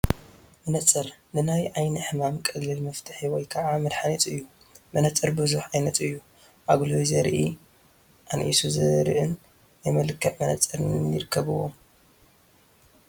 መነፅር ንናይ ዓይኒ ሕማም ቀሊል መፍትሒ ወይ ከዓ መድሓኒት እዩ፡፡ መነፀር ብዙሕ ዓይነት እዩ፡፡ ኣጉሊሁ ዘርኢ፣ ኣንኢሱ ዘርእን ናይ መልክዕ መንፅርን ይርከብዎም፡፡